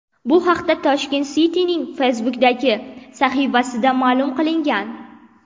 Bu haqda Tashkent City’ning Facebook’dagi sahifasida ma’lum qilingan .